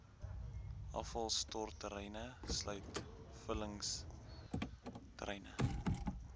afvalstortterreine sluit vullingsterreine